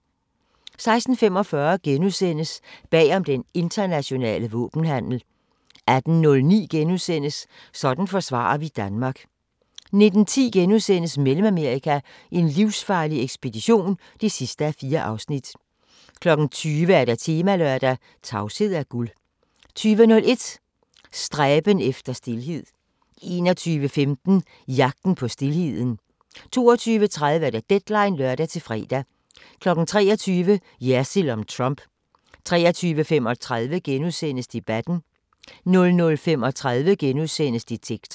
16:45: Bag om den internationale våbenhandel * 18:09: Sådan forsvarer vi Danmark * 19:10: Mellemamerika: en livsfarlig ekspedition (4:4)* 20:00: Temalørdag: Tavshed er guld 20:01: Stræben efter stilhed 21:15: Jagten på stilheden 22:30: Deadline (lør-fre) 23:00: Jersild om Trump 23:35: Debatten * 00:35: Detektor *